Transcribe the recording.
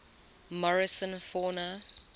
morrison fauna